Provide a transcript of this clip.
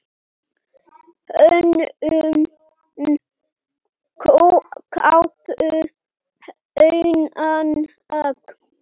Hönnun kápu: Hunang.